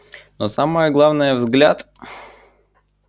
но самое главное взгляд